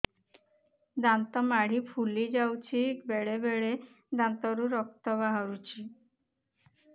ଦାନ୍ତ ମାଢ଼ି ଫୁଲି ଯାଉଛି ବେଳେବେଳେ ଦାନ୍ତରୁ ରକ୍ତ ବାହାରୁଛି